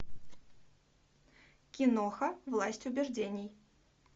киноха власть убеждений